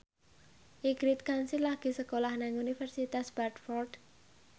Ingrid Kansil lagi sekolah nang Universitas Bradford